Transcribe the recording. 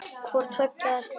Hvort tveggja er slæmt.